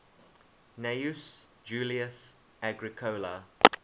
gnaeus julius agricola